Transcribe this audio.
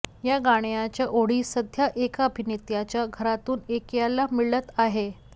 या गाण्याच्या ओळी सध्या एका अभिनेत्याच्या घरातून ऐकायला मिळत आहेत